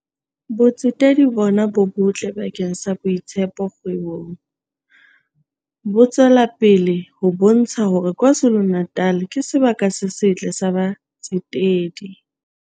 "Botsetedi bona bo botle bakeng sa boitshepo kgwebong. Bo tswelapele ho bontsha hore KwaZulu-Natal ke sebaka se setle sa batsetedi."